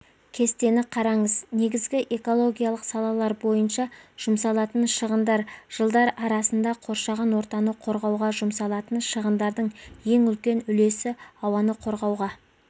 кестені қараңыз негізгі экологиялық салалар бойынша жұмсалатын шығындар жылдар арасында қоршаған ортаны қорғауға жұмсалатын шығындардың ең үлкен үлесі ауаны қорғауға